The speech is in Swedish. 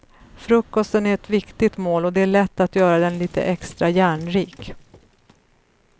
Frukosten är ett viktigt mål och det är lätt att göra den lite extra järnrik.